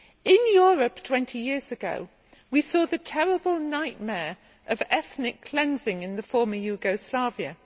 In Europe twenty years ago we saw the terrible nightmare of ethnic cleansing in the former Yugoslavia.